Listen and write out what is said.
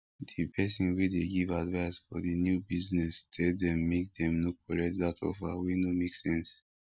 the person wey dey give advise for the new business tell them make dem no collect that offer wey no make sense